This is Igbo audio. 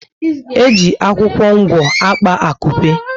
Eji akwụkwọ ngwo akpa akupe